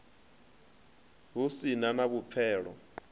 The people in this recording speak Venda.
hu si na na vhupfelo